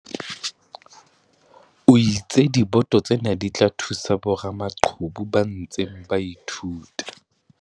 O itse diboto tsena di tla thusa boramaqhubu ba ntseng ba ithuta.